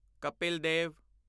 Kapil Dev